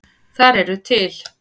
Þar eru til